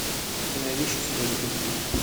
ты найдешь у себя детектив